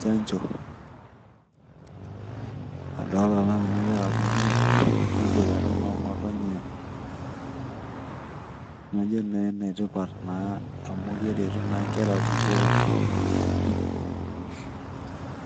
chacho, adolta naa kuna kera kumok ,neboitare noo nkotonye amu keretu naa inkera kuna moyiaritin